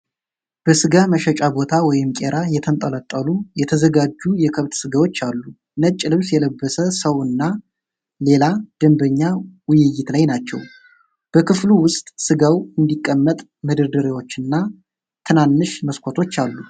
በስጋ መሸጫ ቦታ (ቄራ) የተንጠለጠሉ የተዘጋጁ የከብት ስጋዎች አሉ። ነጭ ልብስ የለበሰ ሰው እና ሌላ ደንበኛ ውይይት ላይ ናቸው። በክፍሉ ውስጥ ስጋው እንዲቀመጥ መደርደሪያዎችና ትናንሽ መስኮቶች አሉ።